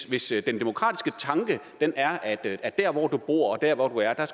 hvis den demokratiske tanke er at der hvor du bor og der hvor du